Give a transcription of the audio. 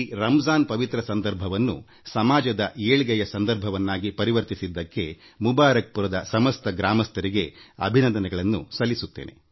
ರಂಜಾನ್ ಮಾಸದ ಈ ಪವಿತ್ರ ಸಂದರ್ಭವನ್ನು ಸಮಾಜದ ಕಲ್ಯಾಣಕ್ಕಾಗಿ ಅವಕಾಶವಾಗಿ ಪರಿವರ್ತಿಸಿಕೊಂಡ ಮುಬಾರಕ್ ಪುರದ ನಿವಾಸಿಗಳಿಗೆ ನಾನು ಅಭಿನಂದನೆ ಸಲ್ಲಿಸುತ್ತೇನೆ